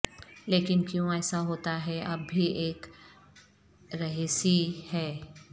لیکن کیوں ایسا ہوتا ہے اب بھی ایک رہسی ہے